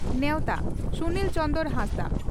ᱱᱮᱣᱛᱟ (ᱥᱩᱱᱤᱞ ᱪᱚᱸᱫᱽᱨᱚ ᱦᱟᱸᱥᱫᱟ)